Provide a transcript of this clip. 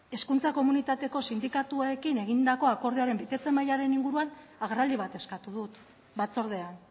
hezkuntza komunitateko sindikatuekin egindako akordioaren betetze mailaren inguruan agerraldi bat eskatu dut batzordean